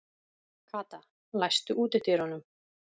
Kata, læstu útidyrunum.